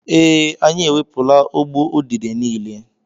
Ee, anyị ewepụla ụgbụ udide niile.